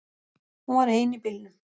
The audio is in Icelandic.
Hún var ein í bílnum.